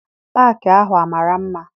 Paakị ahụ amara mma?